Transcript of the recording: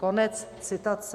Konec citace.